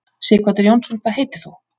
Sighvatur Jónsson: Hvað heitir þú?